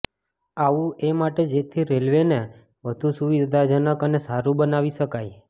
આવુ એ માટે જેથી રેલવેને વધુ સુવિદ્યાજનક અને સારુ બનાવી શકાય